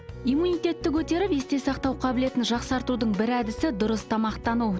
иммунитетті көтеріп есте сақтау қабілетін жақсартудың бір әдісі дұрыс тамақтану